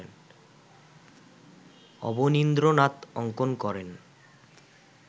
অবনীন্দ্রনাথ অঙ্কন করেন